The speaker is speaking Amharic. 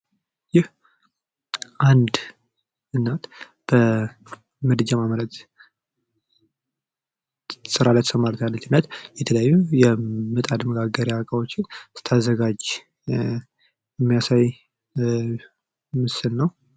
ይህ አንድ እናት በምድጃ ማመምረት ስራ ላይ ተሰማርታለች። የተለያዩ የምጣድ መጋገሪያ እቃዎችን ስታዘጋጅ የሚያሳይ ምስል ነው።